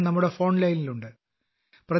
അദ്ദേഹം ഞങ്ങളുടെ ഫോൺ ലൈനിൽ ഉണ്ട്